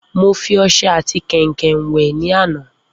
Mo fi ọsẹ ati kèǹkè wè ní àná